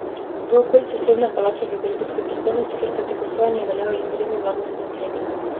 V okolici sodne palače v belgijski prestolnici, kjer poteka sojenje, veljajo izredni varnostni ukrepi.